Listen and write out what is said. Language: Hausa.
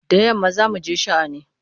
Da yamma za mu je sha'ani.